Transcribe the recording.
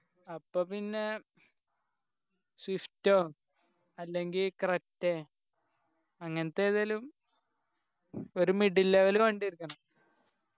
അപ്പൊ പിന്നെ swift ഓ അല്ലെങ്കി creta അങ്ങനത്തെ ഏതെലും ഒരു middle level വണ്ടി എടുക്കണം